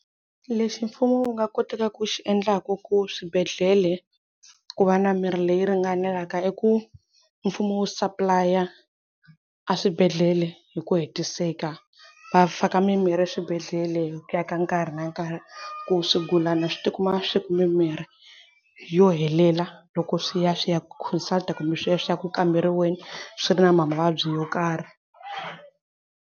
Lexi mfumo wu nga kotaka ku xi endlaku ku swibedhlele ku va na mirhi leyi ringanelaka i ku mfumo wu supplylaya a swibedhlele hi ku hetiseka va faka mimirhi eswibedhlele hi ku ya ka nkarhi na nkarhi ku swigulana swi tikuma swi ni mimirhi yo helela loko swi ya swi ya consult-a kumbe swi ya swi ya ku kamberiweni swi ri na mavabyi yo karhi.